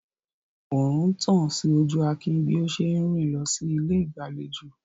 Oòrùn ń tàn sí ojú Akin bí ó ṣe ń rìn lọ sí ilé ìgbàlejò.